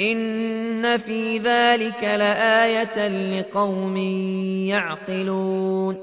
إِنَّ فِي ذَٰلِكَ لَآيَةً لِّقَوْمٍ يَعْقِلُونَ